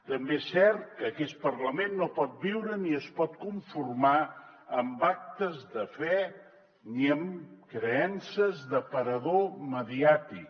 també és cert que aquest parlament no pot viure ni es pot conformar amb actes de fe ni amb creences d’aparador mediàtic